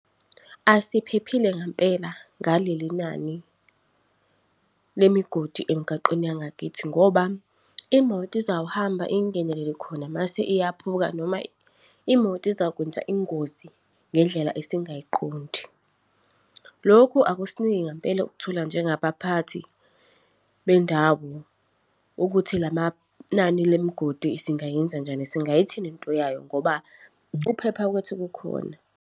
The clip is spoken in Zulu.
Asiphephile ngempela, ngaleli nani lemigodi emgaqweni yangakithi ngoba imoto izawuhamba ingenelele khona, mase iyaphuka noma imoto izakwenza ingozi ngendlela esingayiqondi. Lokhu akusiniki ngempela ukuthula njengabaphathi bendawo, ukuthi la manani lemgodi singayenze njani, singayithini into yayo? Ngoba ukuphepha kwethu kukhona.